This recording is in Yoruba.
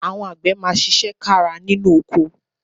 Àwọn àgbẹ̀ máa ṣiṣẹ́ kára nínú oko